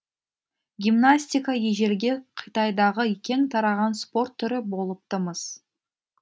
гимнастика ежелгі қытайдағы кең тараған спорт түрі болыпты мыс